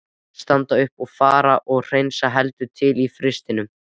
Standa upp og fara og hreinsa heldur til í frystinum.